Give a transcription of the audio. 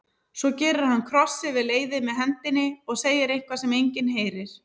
Svo gerir hann kross yfir leiðið með hendinni og segir eitthvað sem enginn heyrir.